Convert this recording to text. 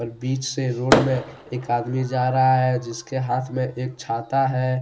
बीच से रोड में एक आदमी जा रहा है जिसके हाथ में एक छाता है।